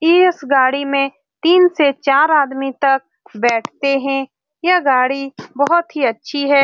इस गाड़ी में तीन से चार आदमी तक बैठते है। यह गाड़ी बहुत ही अच्छी है।